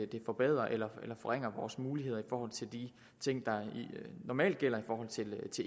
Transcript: de forbedrer eller forringer vores muligheder i forhold til de ting der normalt gælder for